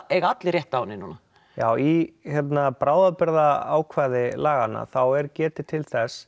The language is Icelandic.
eiga allir rétt á henni núna já í bráðabirgða ákvæði laganna þá er getið til þess